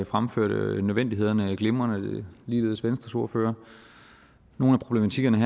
fremførte nødvendigheden glimrende ligeledes venstres ordfører nogle af problematikkerne